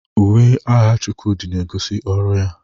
Uwe agha Chukwudi na-egosi ọrụ ya.